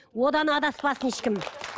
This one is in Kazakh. одан адаспасын ешкім